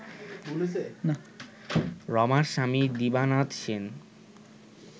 রমার স্বামী দিবানাথ সেন